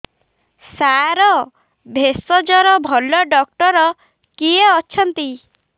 ସାର ଭେଷଜର ଭଲ ଡକ୍ଟର କିଏ ଅଛନ୍ତି